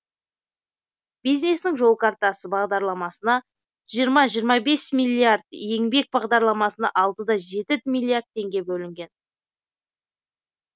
бизнестің жол картасы бағдарламасына жиырма жиырма бес миллиард еңбек бағдарламасына алты да жеті миллиард теңге бөлінген